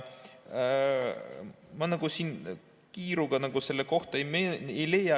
Ma siin kiiruga seda kohta ei leia.